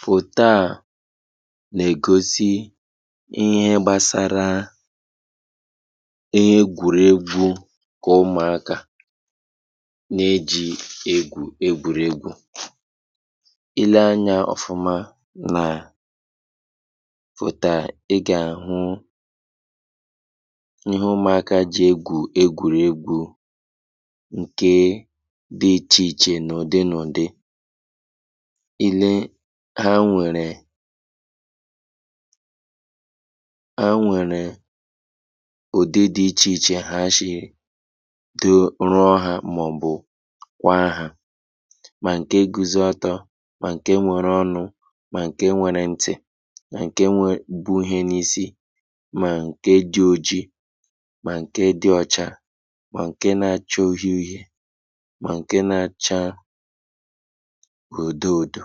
Foto a na-egosị ihe gbasara ihe egwuregwu nke ụmụaka na-eji egwu egwuregwu. Ịle anya ofụma na foto a, ị ga-ahụ ihe ụmụaka e ji egwu egwuregwu nke dị iche iche n'ụdị nụdị. Ịle ha nwere ha nwere ụdị dị iche iche ha ji rụọ ha, ma nke guzoro ọtọ ma nke nwere ọnụ ma nke nwere ntị ma nke wee bụ ihe n'isi ma nke dị ọgị ma nke dị ọcha ma nke na-acha ọhe-ọhe ma nke na-acha ọdụ-ọdụ.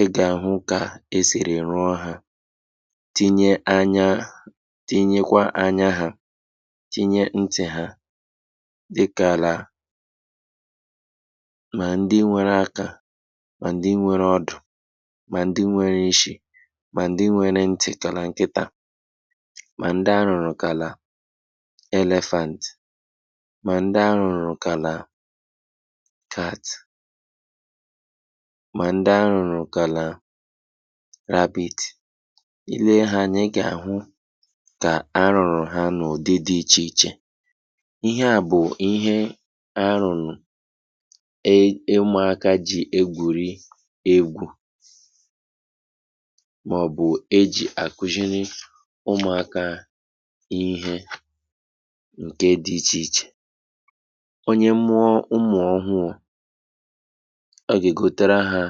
Ị ga-ahụ ka e si rụọ ha tinyere anya, tinyere kwa anya ha, tinyere ntị ha, dị ka la ma ndị nwere aka ma ndị nwere ọdụ ma ndị nwere ịshị ma ndị nwere ntị ka nkịta, ma ndị arụrụ ka la Elephant, ma ndị arụrụ ka la cat, ma ndị arụrụ ka la rabbit. Ịle ha anya, ị ga-ahụ ka a rụrụ ha n'ụdị dị iche iche. Ihe a bụ ihe arụrụ (ụm-) ụmụaka e ji egwuregwu ma ọ bụ a ji akụziere ụmụaka ihe nke dị iche iche. Onye mụọ ụmụ ọhụrụ o ga-azụtara ha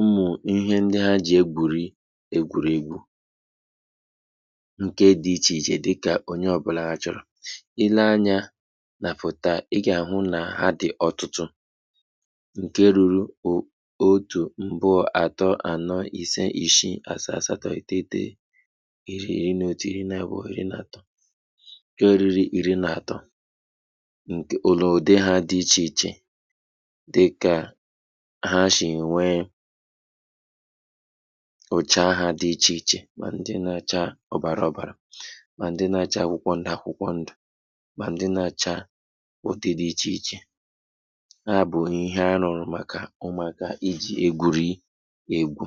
ụmụ e ji egwuregwu nke dị iche iche dị ka onye ọbụla chọrọ. Ịle anya na foto a, ị ga-ahụ na ha dị n'ọtụtụ, nke rụrụ o otu, abụọ, atọ, anọ, ise, ịsị, asaa, asatọ, iteghete, iri, iri n'otu, iri n'abụọ, iri n'atọ, dị ọrịrị iri n'atọ nke la ụdị ha dị iche iche, dị ka ha si nwe oche ha dị iche iche, ma ndị na-acha ọbara ọbara ma ndị na-acha akwụkwọ ndụ-akwụkwọ ndụ, ma ndị na-acha ụdị dị iche iche. Ha bụ ihe arụrụ maka ụmụaka e ji egwuregwu.